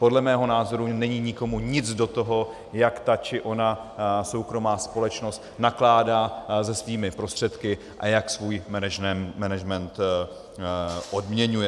Podle mého názoru není nikomu nic do toho, jak ta či ona soukromá společnost nakládá se svými prostředky a jak svůj management odměňuje.